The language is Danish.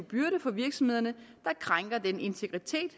byrde for virksomhederne der krænker den integritet